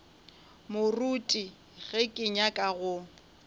moruti ge ke nyaka go